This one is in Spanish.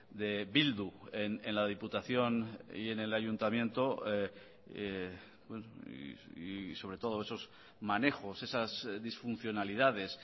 de bildu en la diputación y en el ayuntamiento y sobre todo esos manejos esas disfuncionalidades